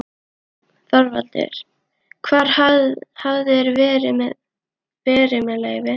ÞORVALDUR: Hvar hafið þér verið- með leyfi?